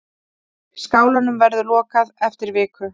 Skálanum verður lokað eftir viku.